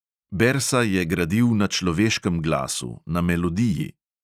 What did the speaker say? Bersa je gradil na človeškem glasu, na melodiji.